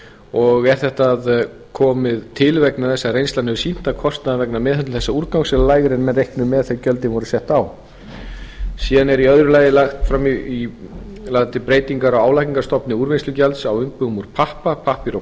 og er þetta komið til vegna þess að reynslan hefur sýnt að kostnaður vegna meðhöndlun þessa úrgangs er lægri heldur en menn reiknuðu með þegar gjöldin voru sett á síðan er í öðru lagðar til breytingar á álagningarstofni úrvinnslugjalds á umbúðum úr pappa pappír og